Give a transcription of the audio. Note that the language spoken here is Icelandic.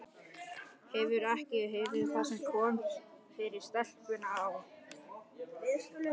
Hefurðu ekki heyrt það sem kom fyrir stelpuna á